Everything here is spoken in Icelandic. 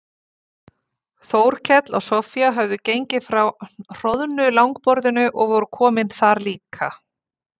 Þórkell og Soffía höfðu gengið frá hroðnu langborðinu og voru komin þar líka.